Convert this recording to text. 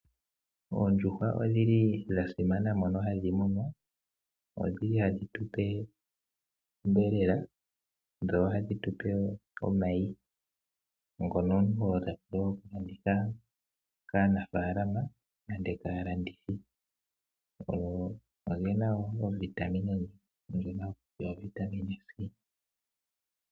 Oondjuhwa odhi li dha simana, mono hadhi munwa. Odhi li hadhi tu pe onyama. Dho ohadhi tu pe omayi ngono omuntu ho landitha kaanafaalama nenge kaalandithi. Oge na wo ovitamine ndjono haku tiwa ovitamine C.